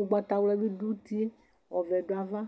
ugbatawla bi du utie ku ɔwɛ du ava